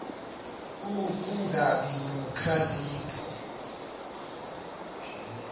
ku kungabi nokhalipho